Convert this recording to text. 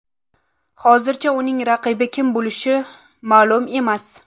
Hozircha uning raqibi kim bo‘lishi ma’lum emas.